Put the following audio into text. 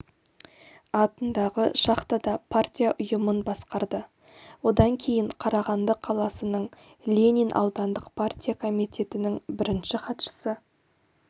атындағы шахтада партия ұйымын басқарды одан кейін қарағанды қаласының ленин аудандық партия комитетінің бірінші хатшысы